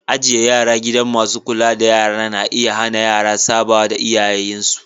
Ijie yara a gidan masun kulla da yara na iya hanna yara saba da iyayen su.